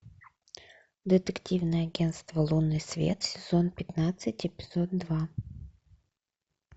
детективное агенство лунный свет сезон пятнадцать эпизод два